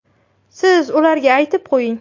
Siz ularga aytib qo‘ying.